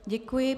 Děkuji.